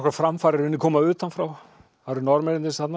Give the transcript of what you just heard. framfarir í raun koma utan frá það eru Norðmennirnir þarna